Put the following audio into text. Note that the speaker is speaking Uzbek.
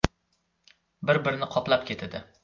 Bir-birini qoplab ketadi.